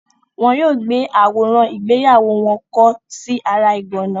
Wọn yóò gbé àwòrán ìgbéyàwó wọn kọ́ sí ara ìgànná.